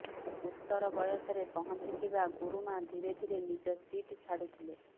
ଉତ୍ତର ବୟସରେ ପହଞ୍ଚିଥିବା ଗୁରୁମା ଧୀରେ ଧୀରେ ନିଜ ସିଟ୍ ଛାଡୁଥିଲେ